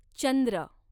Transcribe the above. चंद्र